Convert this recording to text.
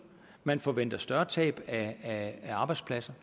man forventer et større tab af arbejdspladser